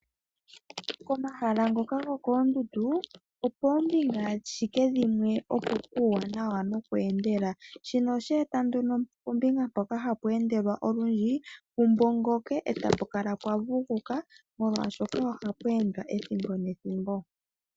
Pomahala ngoka gokoondundu opoo mbinga ashike dhimwe opo puuwanawa noku endela. Shino osheeta nduno pombinga mpoka hapu endelwa olundji pu mbongoke eta pu kala pwa vuguka, molwaashoka ohapu endwa ethimbo nethimbo.